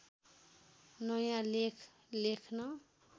नयाँ लेख लेख्न